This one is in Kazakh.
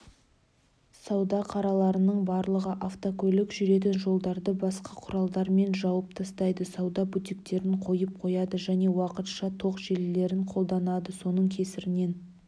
сауда қараларының барлығы автокөлік жүретін жолдарды басқа құралдармен жауып тастайды сауда бутиктерін қойып қояды және уақытша тоқ желілерін қолданады соның кесірінен